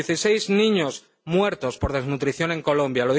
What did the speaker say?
Dieciséis niños muertos por desnutrición en Colombia.